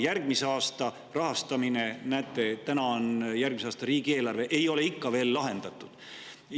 Järgmise aasta rahastamine – näete, täna on siin järgmise aasta riigieelarve – ei ole ikka veel lahendatud.